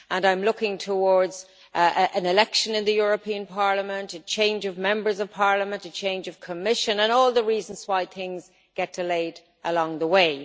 I am looking towards an election in the European Parliament, a change of Members of Parliament, a change of Commission, and all the reasons why things get delayed along the way.